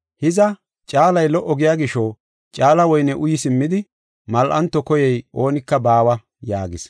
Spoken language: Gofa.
Hiza, caalay lo77o giya gisho, caala woyne uyi simmidi mal7anto koyey oonika baawa” yaagis.